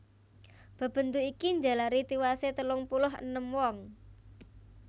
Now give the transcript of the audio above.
Bebendu iki njalari tiwasé telung puluh enem wong